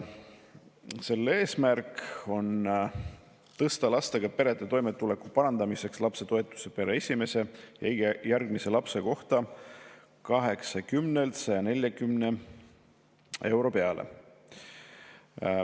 Selle eesmärk on tõsta lastega perede toimetuleku parandamiseks lapsetoetust pere esimese ja iga järgmise lapse kohta 80 eurolt 140 euro peale.